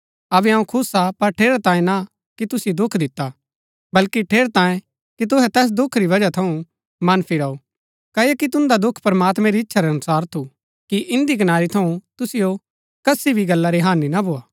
अबै अऊँ खुश हा पर ठेरैतांये ना कि तुसिओ दुख दिता बल्कि ठेरैतांये कि तुहै तैस दुख री वजह थऊँ मन फिराऊ क्ओकि तुन्दा दुख प्रमात्मैं री इच्छा रै अनुसार थु कि इन्दी कनारी थऊँ तुसिओ कसी भी गल्ला री हानि ना भोआ